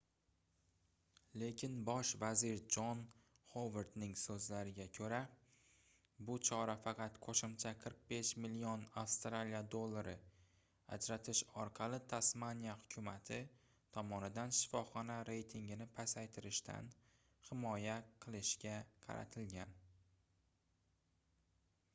lekin bosh vazir jon xovardning soʻzlariga koʻra bu chora faqat qoʻshimcha 45 million aud ajratish orqali tasmaniya hukumati tomonidan shifoxona reytigini pasaytirishdan himoya qilishga qaratilgan